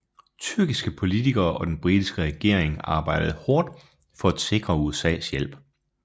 Tyrkiske politikere og den britiske regering arbejdede hårdt for at sikre USAs hjælp